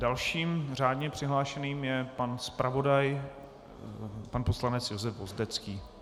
Dalším řádně přihlášeným je pan zpravodaj, pan poslanec Josef Vozdecký.